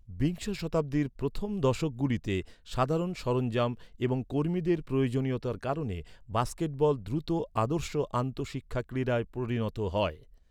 বিংশ শতাব্দীর প্রথম দশকগুলিতে, সাধারণ সরঞ্জাম এবং কর্মীদের প্রয়োজনীয়তার কারণে বাস্কেটবল দ্রুত আদর্শ আন্তঃশিক্ষা ক্রিড়ায় পরিণত হয়।